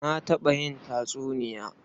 Na taɓa yin tatsuniya.